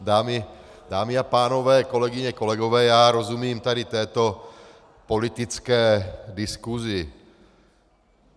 Dámy a pánové, kolegyně, kolegové, já rozumím tady této politické diskusi.